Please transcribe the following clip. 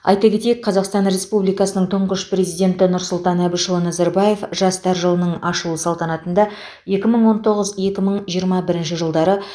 айта кетейік қазақстан республикасының тұңғыш президенті нұрсұлтан әбішұлы назарбаев жастар жылының ашылу салтанатында екі мың он тоғыз екі мың жиырма бірінші жылдары